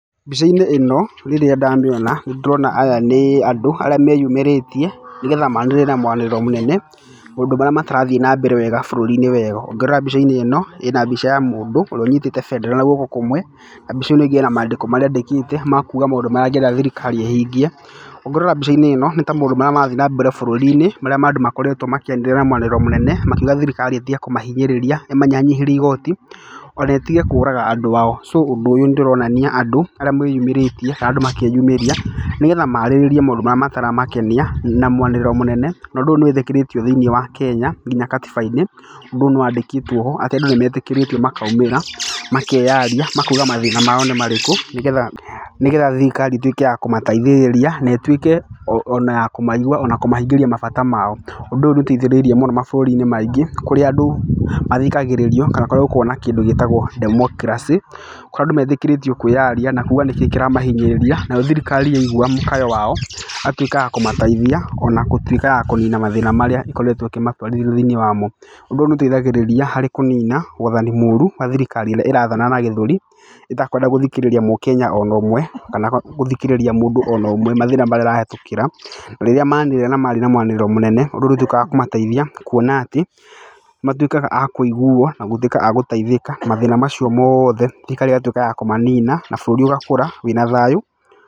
Mbica-inĩ ĩno rĩrĩa ndamĩona nĩ ndĩrona atĩ aya nĩ andũ arĩa meyumĩrĩtie nĩgetha manĩrĩre na mwanĩrĩro mũnene maũndũ marĩa matarathiĩ wega bũrũri-inĩ weyo. Ũngĩrora wega mbica-inĩ ĩno ĩna mbica ya mũndũ ũrĩa ũnyitĩte bendera na guoko kũmwe, na mbica ĩno ĩngĩ ena maandĩko marĩa andĩkĩte ma kuuga maũndũ marĩa angĩenda thirikari ĩhingie. Ũngĩrora mbica-inĩ ĩno nĩ ta maũndũ marĩa marathiĩ na mbere marĩa ma andũ makoretwo makĩanĩrĩra na mũanĩrĩro mũnene makiuga thirikari ĩtige kũmahinyĩrĩria ĩmanyihanyihĩrie igooti, ona ĩtige kũraga andũ ao. So ũndũ ũyũ nĩ ndĩronia andũ arĩa mwĩyumĩrĩtie kana andũ makeyumĩria nĩgetha maarĩrĩrie maũndũ marĩa mataramakenia na mwanĩrĩro mũnene. Na ũndũ ũyũ nĩ wĩtĩkĩrĩtio thĩinĩ wa bũrũri wa Kenya nginya gatiba-inĩ ũndũ ũyũ nĩ waandĩkĩtwo ho. Atĩ andũ nĩ metĩkĩrĩtio makaumĩra, makeyaria, makauga mathĩna mao nĩ marĩkũ nĩgetha thirikari ĩtuĩke ya kũmateithĩrĩria na ĩtuĩke ona ya kũmaigua ona kũmahingĩria mabata mao. Ũndũ ũyũ nĩ ũteithĩrĩirie mũno mabũrũri-inĩ maingĩ kũrĩa andũ, mathikagĩrĩrio kana kũrĩa gũkoragwo na kĩndũ gĩtagwo democracy. Kũrĩa andũ metĩkĩrĩtio kwĩyaria na kuuga nĩkĩ kĩramagia nayo thirikari yaigua mũkayo wao ĩgatuĩka ya kũmateithia ona ya gũtuĩka ya kũnina mathĩna marĩa ĩkoretwo ĩkĩmatwarithia thĩiniĩ wamo. Ũndũ ũyũ nĩ ũteithagĩrĩria kũnina waathani mũũru wa thirikari ĩrĩa ĩrathana na gĩthũri, ĩtakwenda gũthikĩrĩria mũkenya ona ũmwe kana gũthikĩrĩria mũndũ ona ũmwe mathĩna marĩa arahĩtũkĩra. Rĩrĩa manĩrĩra na mwanĩrĩro mũnene ũndũ ũrĩa ũtuĩkaga wa kũmateithia. Kuona atĩ, matuĩkaga a kũiguo na gũtuĩka a gũteithĩka. Mathĩna macio mothe thirikari ĩgatuĩka ya kũmanina na bũrũri ũgaikara wĩna thayũ.